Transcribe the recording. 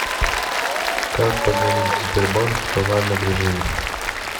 как позвонить в сбербанк в тональном режиме